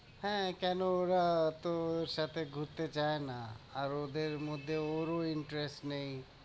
হ্যাঁ, কেনো ওরা তো ওর সাথে ঘুরতে যায় না, আর ওদের মধ্যে ওরও interest নেই।